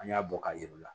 An y'a bɔ ka yir'u la